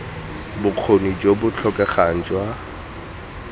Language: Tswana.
bokgoni jo bo tlhokegang jwa